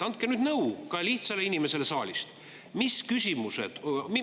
Andke nõu ka lihtsale inimesele saalist!